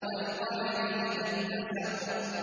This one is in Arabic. وَالْقَمَرِ إِذَا اتَّسَقَ